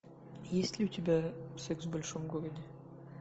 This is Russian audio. есть ли у тебя секс в большом городе